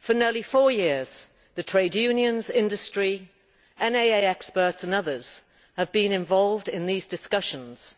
For nearly four years the trade unions, industry, NAA experts and others have been involved in these discussions,